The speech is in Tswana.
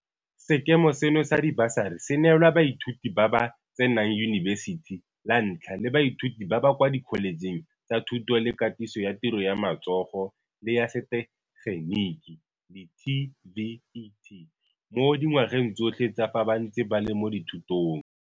Sekema seno sa dibasari se neelwa baithuti ba ba tsenang yunibesithi la ntlha le baithuti ba ba kwa dikholetšheng tsa Thuto le Katiso ya Tiro ya Matso go le ya Setegeniki di-TVET, mo dingwageng tsotlhe tsa fa ba ntse ba le mo dithutong.